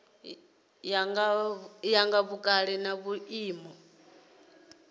ya nga vhukale na vhuimo